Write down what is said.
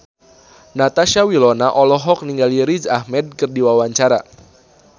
Natasha Wilona olohok ningali Riz Ahmed keur diwawancara